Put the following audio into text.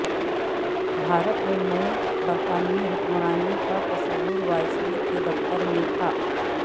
بھارت میں نئے برتانوی حکمرانی کا تصور وائسور کے دفتر تھا